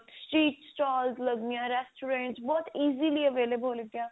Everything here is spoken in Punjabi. street stalls ਲੱਗਦੀਆਂ restaurant ਬਹੁਤ easily available